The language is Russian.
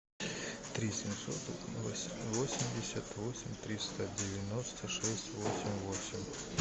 три семьсот восемьдесят восемь триста девяносто шесть восемь восемь